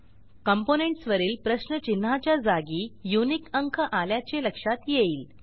components वरील प्रश्नचिन्हाच्या जागी युनिक अंक आल्याचे लक्षात येईल